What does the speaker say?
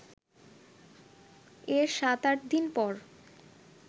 এর সাত-আট দিন পর